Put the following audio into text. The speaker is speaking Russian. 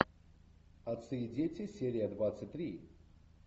отцы и дети серия двадцать три